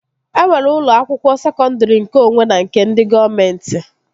E nwere ụlọ akwụkwọ sekọndri nkeonwe na nke ndị gọọmenti